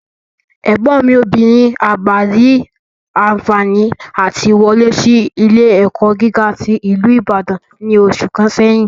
Ẹ̀gbọ́n mi obìnrin àgbà rí anfààní àti wọlé sí ilé-ẹ̀kọ́ gíga tí ìlú Ìbàdàn ní oṣù kan sẹ́yìn